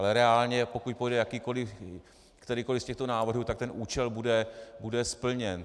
Ale reálně pokud projde kterýkoli v těchto návrhů, tak ten účel bude splněn.